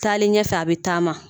Taalen ɲɛfɛ a bɛ taama